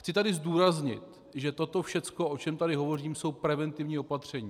Chci tedy zdůraznit, že toto všechno, o čem tady hovořím, jsou preventivní opatření.